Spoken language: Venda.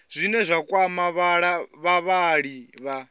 zwine zwa kwama vhavhali vha